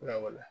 Lawa